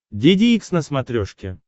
деде икс на смотрешке